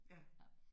Ja